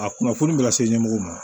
A kunnafoni bɛ lase ɲɛmɔgɔw ma